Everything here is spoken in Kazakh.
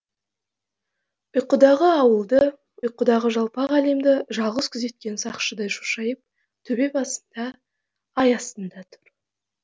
ұйқыдағы ауылды ұйқыдағы жалпақ әлемді жалғыз күзеткен сақшыдай шошайып төбе басында ай астында тұр